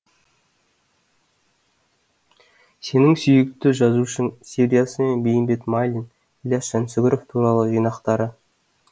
сенің сүйікті жазушың сериясымен бейімбет майлин ілияс жансүгіров туралы жинақтары